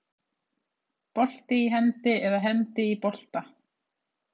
Bolti í hendi eða hendi í bolta?